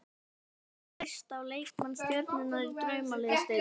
Ætlar þú að treysta á leikmenn stjörnunnar í Draumaliðsdeildinni?